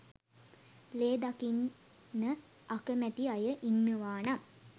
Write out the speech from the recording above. ලේ දකින්න අකමැති අය ඉන්නවා නම්